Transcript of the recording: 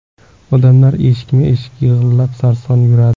Odamlar eshikma eshik, yillab sarson yuradi.